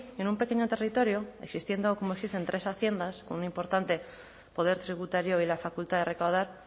en un pequeño territorio existiendo como existen tres haciendas con un importante poder tributario y la facultad de recaudar